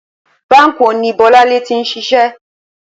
Báǹkì wo ni Bó̩láńlé ti ń s̩is̩é̩?